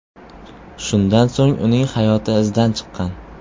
Shundan so‘ng uning hayoti izdan chiqqan.